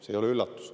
See ei ole üllatus.